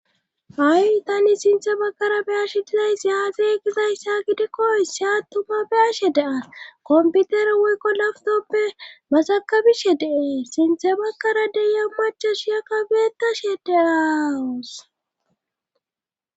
ha7i tani sinthe bakara beyashe dizayssiyaaxe egizayssa gidekkoyse attuma beyashe dean komputer woykko laftoppe masakabishe deee sinthe bakkara deya machashiyaka beetashe deaaawus